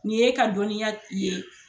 Nin y'e ka dɔnniya i ye.